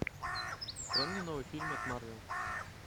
открой мне новый фильм от марвел